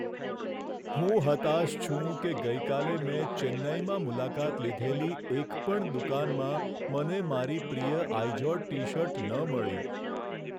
હું હતાશ છું કે ગઈકાલે મેં ચેન્નઈમાં મુલાકાત લીધેલી એક પણ દુકાનમાં મને મારી પ્રિય આઈઝોડ ટી શર્ટ ન મળી.